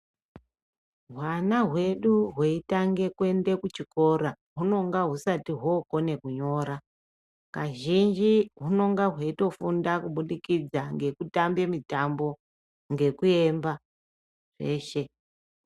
Hwana hwedu hweitange kuenda kuchikora hunenge husati hokona kunyora kazhinji hunenge hweitofunda kubudikidza ngekutambe mitambo ngekuemba eshe.